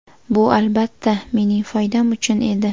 Bu albatta, mening foydam uchun edi.